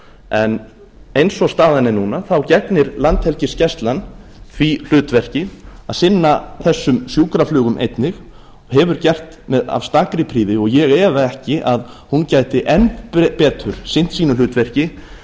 en eins og staðan er núna gegnir landhelgisgæslan því hlutverki að sinna þessu sjúkraflugi einnig og hefur gert af stakri prýði og ég efa ekki að hún gæti enn betur sinnt sínu hlutverki